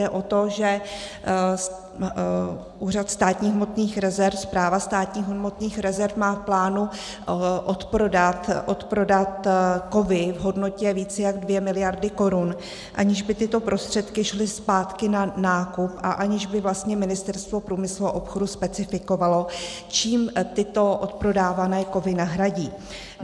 Jde o to, že úřad státních hmotných rezerv, Správa státních hmotných rezerv, má v plánu odprodat kovy v hodnotě více jak 2 miliardy korun, aniž by tyto prostředky šly zpátky na nákup a aniž by vlastně Ministerstvo průmyslu a obchodu specifikovalo, čím tyto odprodávané kovy nahradí.